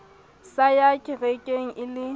sa yang kerekeng e le